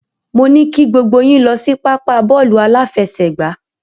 Mo ní kí gbogbo yín lọ sí pápá bọ́ọ̀lù aláfẹsẹ̀gbá.